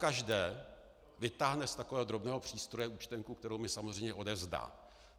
Pokaždé vytáhne z takového drobného přístroje účtenku, kterou mi samozřejmě odevzdá.